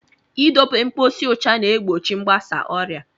I dobe mposi ụcha na-egbochi mgbasa ọrịa.